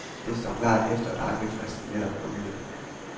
Det står klart, efter at ankefristen netop er udløbet.